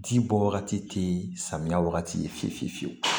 Ji bɔ wagati tɛ samiya wagati fiye fiye fiyewu